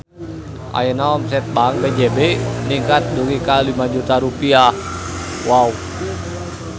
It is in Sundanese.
Ayeuna omset Bank BJB ningkat dugi ka 5 juta rupiah